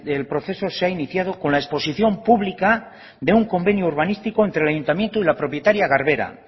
el proceso se ha iniciado con la exposición pública de un convenio urbanístico entre el ayuntamiento y la propietaria garbera